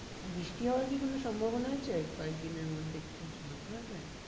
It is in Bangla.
বৃষ্টি হওয়ার কি কোনো সম্ভবনা আছে? কয়েক দিনের মধ্যে কিছু বলতে পারবেন?